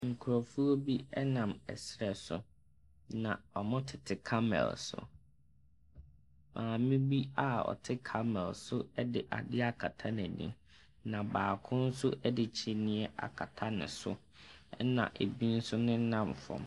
Nkrɔfoɔ bi ɛnam ɛsrɛ so wɔtete camel so. Maame bi a ɔte camel so de ade akta n'ani. Na baako nso de kyiniiɛ akata n'aso na ebi nso nenam fam.